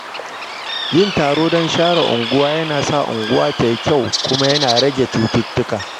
Yin taron don share unguwa yana sa unguwa ta yi kyau kuma yana rage cututtuka.